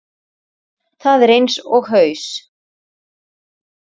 Það er eins og haus